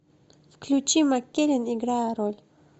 включи маккеллен играя роль